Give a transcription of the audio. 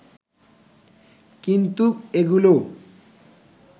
কিন্তু এগুলোও